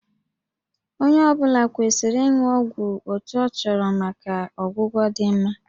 Onye ọ bụla kwesịrị ịṅụ ọgwụ otu a chọrọ maka ọgwụgwọ dị mma